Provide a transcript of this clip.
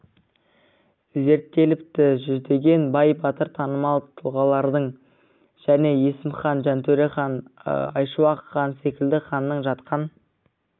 зерттеліпті жүздеген бай-батыр танымал тұлғалардың және есім хан жантөре хан айшуақ хан секілді ханның жатқан